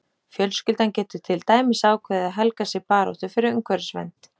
Fjölskyldan getur til dæmis ákveðið að helga sig baráttu fyrir umhverfisvernd.